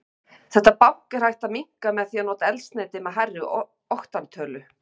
Þetta bank er hægt að minnka með því að nota eldsneyti með hærri oktantölu.